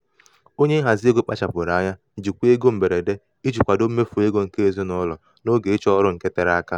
onye nhazi ego kpachapụrụ anya jikwaa ego mberede iji kwadoo mmefu ego nke ezinụlọ n'oge ịchọ ọrụ nke tere aka.